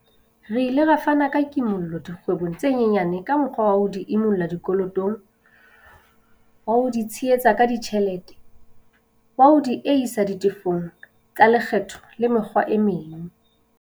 Re ile ra fana ka kimollo dikgwebong tse nyenyane ka mokgwa wa ho di imolla dikolotong, wa ho di tshehetsa ka ditjhelete, wa ho diehisa ditefo tsa le kgetho le mekgwa e meng.